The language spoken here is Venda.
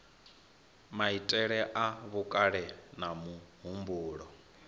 maitele a vhukale na muhumbulo